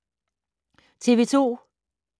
TV 2